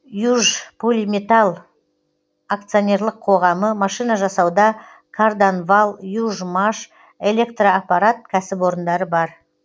южполиметалл акционерлік қоғамы машина жасауда карданвал южмаш электроаппарат кәсіпорындары бар